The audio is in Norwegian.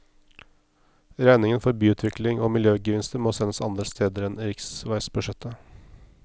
Regningen for byutvikling og miljøgevinster må sendes andre steder enn riksveibudsjettet.